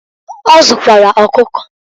Ọ zụkwara ọkụkọ.